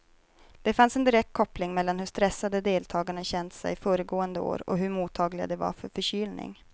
Det fanns en direkt koppling mellan hur stressade deltagarna känt sig föregående år och hur mottagliga de var för förkylning.